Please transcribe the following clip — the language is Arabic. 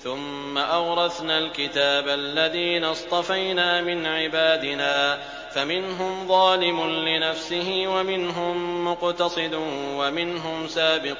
ثُمَّ أَوْرَثْنَا الْكِتَابَ الَّذِينَ اصْطَفَيْنَا مِنْ عِبَادِنَا ۖ فَمِنْهُمْ ظَالِمٌ لِّنَفْسِهِ وَمِنْهُم مُّقْتَصِدٌ وَمِنْهُمْ سَابِقٌ